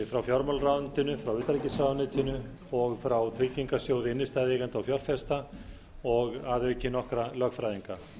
frá fjármálaráðuneytinu utanríkisráðuneytinu og frá tryggingarsjóði innstæðueigenda og fjárfesta og að auki nokkra lögfræðinga það